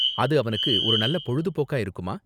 அது அவனுக்கு ஒரு நல்ல பொழுதுபோக்கா இருக்குமா?